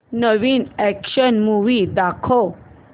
नवीन action movie दाखव